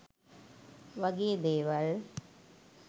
වගේ දේවල්